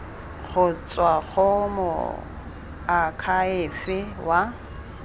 go tswa go moakhaefe wa